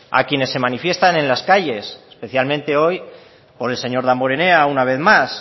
a quienes se manifiestan en las calles especialmente hoy por el señor damborenea una vez más